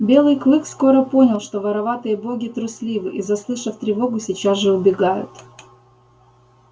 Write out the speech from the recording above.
белый клык скоро понял что вороватые боги трусливы и заслышав тревогу сейчас же убегают